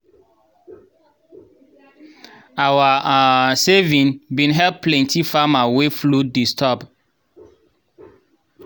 our um saving bin help plenty farmer wey flood disturb.